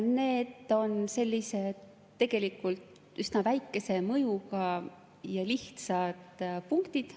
Need on sellised tegelikult üsna väikese mõjuga ja lihtsad punktid.